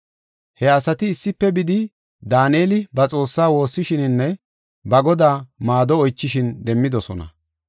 He asati issife bidi, Daaneli ba Xoossaa woossishininne ba Godaa maado oychishin demmidosona.